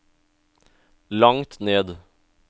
langt ned